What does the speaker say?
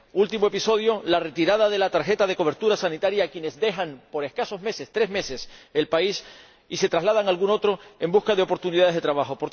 Último episodio la retirada de la tarjeta de cobertura sanitaria a quienes dejan por escasos meses —tres meses— el país y se trasladan a algún otro en busca de oportunidades de trabajo.